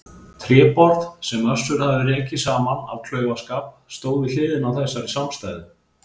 Tréborð, sem Össur hafði rekið saman af klaufaskap stóð við hliðina á þessari samstæðu.